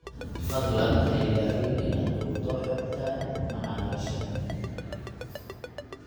Fadlan ha ilaawin inaad duubto xogta macaamiisha